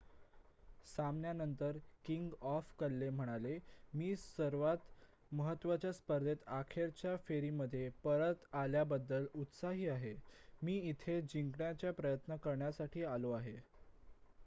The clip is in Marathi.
"सामन्यानंतर किंग ऑफ क्ले म्हणाला "मी सर्वांत महत्त्वाच्या स्पर्धेच्या अखेरच्या फेरीमध्ये परत आल्याबद्दल उत्साही आहे. मी इथे जिंकण्याचा प्रयत्न करण्यासाठी आलो आहे.""